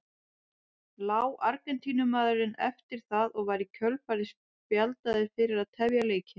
Lá Argentínumaðurinn eftir það og var í kjölfarið spjaldaður fyrir að tefja leikinn.